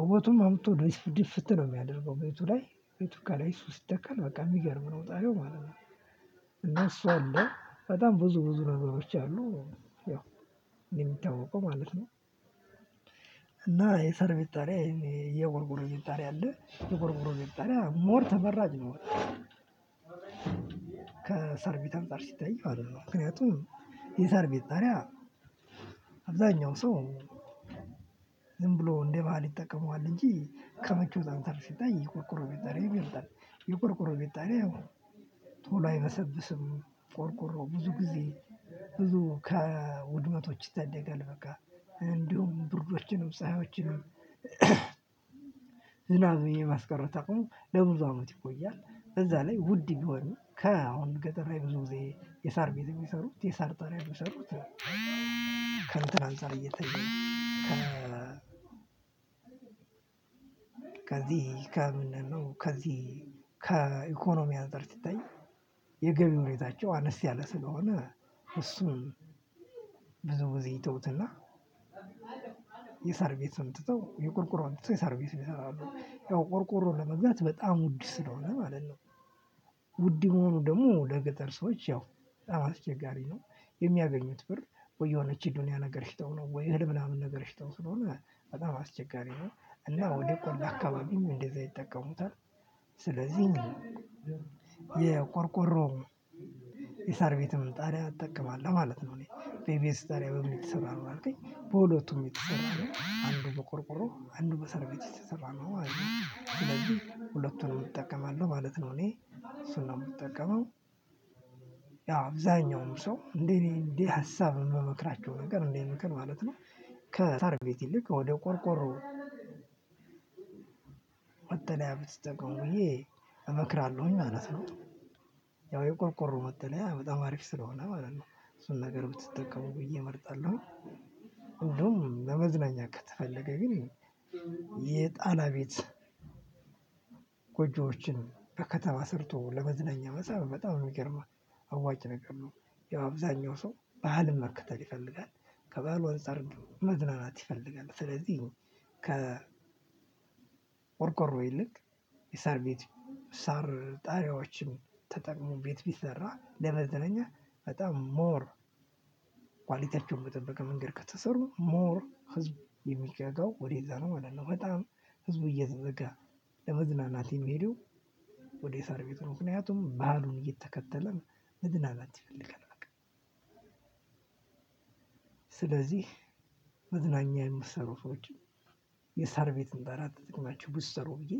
ውበቱን አምጥቶ ድፍት ድፍት ነው የማያደርገው ቤቱ ለይ። ቤቱ ከለይ ስተከል በቃ የምገርም ነው ጣሪያው ማለት ነው። እና እሱ አለ በጣም ብዙ ብዙ ነገሮች አሉ የምታውቀው ማለት ነው። እና የሰር ቤት ጣሪያ የቆርቆር ቤት ጣሪያ አለ የቆርቆር ቤት ጣሪያ ሞር ተመራጭ ነው። ከሰር ቤትም አንፃር ሲታይ ማለት ነው ምክንያቱም የሰር ቤት ጣሪያ አብዛኛው ሰው ዝም ብሎ እንደ ባህል ይጠቀመዋል እንጂ ከሞቾት አንፃር ሲተይ የቁርቁሮ ቤት ጣሪያ ይበልጣል። የቆርቆሮ ቤት ጣሪያው ቶሎ አይበሰብስም። ቆርቆሮ ብዙ ጊዜ ብዙ ከውድመቶች ይታደጋል በቃ እንዲሁም ብርጆችንም ፀሀዮችንም የማስቀረት አቅሙ ለብዙ አመት ይቆያል። እዛ ላይ ውድ ቢሆንም ከአሁን ገጠር ላይ ብዙ ጊዜ የሳር ቤት የሚሰሩት የሳር ጠራይ ቢሰሩት ከእንትን አንፃር እየተየ ከዚህ ከምንድነው ከዚህ ከኢኮኖም አንፃር ሲታይ የገቢ ሁኔታቸው አነስ ያለ ስለሆነ እሱን ብዙ ጊዜ ይቶውትና የሳር ቤትን ትተው የቆርቆሮ አምጥቶ የሳር ቤት ይሰራሉ። ያው ቆርቆሮ ለመግዛት በጣም ውድ ስለሆነ ማለት ነው። ውድ መሆኑ ደግሞ ለገጠር ሰዎች ያው አስቸጋሪ ነው። የሚያገኙት ብር ወይ የሆነች የዶኒያ ነገር ሽጠው ነው ወይ እህል ምናምን ነገር ሽጠው ስለሆነ በጣም አስቸጋሪ ነው እና ወደ ቆላ አካባቢም እንደዛ ይጠቀሙታል። ስለዚህ እንግዲህ የቆርቆሮ የሳር ቤትም ጣሪያ እጠቀማለሁ፣ ማለት ነው። የእኔ ቤትስ ጠሪያ በምን የተሰራ ነው ከልከኝ በሁለቱም የተሰራው ነው አንዱ በቆርቆሮ አንዱ በሰርቤት የተሰራ ነው ማለት ነው። ሁለቱንም እጠቀማለሁ ማለት ነው እኔ። እሱን ነው የምጠቀመው። ያው አብዛኛውም ሰው እንዴ እኔ እንደ ሀሳብ የምመክረቸው ነገር ከሳር ቤት ይልቅ ወደ ቆርቆሮ መጠልያ ብትጠቀሙ ብዬ እመክራለሁኝ ማለት ነው። ያው የቆርቆሮ መጠለያ በጣም አሪፍ ስለሆነ ማለት ነው። እሱን ነገር ብትጠቀሙ ብዬ እመርጣለሁኝ። ሁሉም ለመዝናኛ ከተፈለገ ግን የጣላ ቤት ጎጆዎችን ከከተማ ሰርቶ ለመዝናኛ መሰብ በጣም የሚገርም አዋጭ ነገር ነው። ያው አብዛኛው ሰው ባህልን መክተል ይፈልጋል። ከባህሉ አንፃር መዝናናት ይፈልጋል። ስለዚህ ከቆርቆሮ ይልቅ የሳር ቤት ሳር ጣሪያዎችን ተጠቅሞ ቤት ብሰራ ለመዘነኛ በጣም ሞር ኮያልተቸውን በጠበቀ መንገድ ከተሠሩ ሞር ህዝብ የምጓጓ ወደዛ ነው ማለት ነው። በጣም ህዝቡ እየተዘጋ ለመዝናናት የምሄደው ወደ ሳር ቤት ነው። ምከንያቱም በህሉን እየተከተለ መዝናናትን ይፈለጋል። መዝናኛ የምትሰሩ ሰዎችም የሳር ቤትን በህርያት ብትሰሩ ብዬ